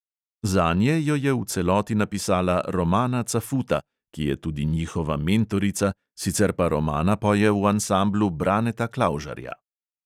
Zanje jo je v celoti napisala romana cafuta, ki je tudi njihova mentorica, sicer pa romana poje v ansamblu braneta klavžarja.